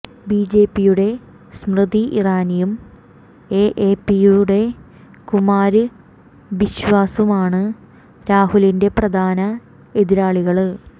B ജെ പിയുടെ സ്മൃതി ഇറാനിയും എ എ പിയുടെ കുമാര് ബിശ്വാസുമാണ് രാഹുലിന്റെ പ്രധാന എതിരാളികള്